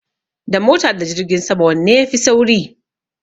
Da mota da jirgin sama wanne ya fi sauri?